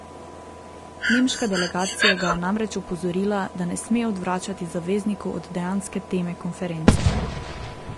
Nemška delegacija ga je namreč opozorila, da ne sme odvračati zaveznikov od dejanske teme konference.